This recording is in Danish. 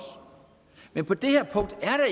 men på det her punkt